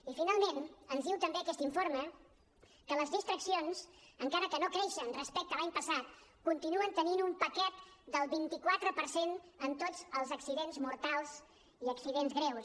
i finalment ens diu també aquest informe que les distraccions encara que no creixen respecte a l’any passat continuen tenint un paquet del vint quatre per cent en tots els accidents mortals i accidents greus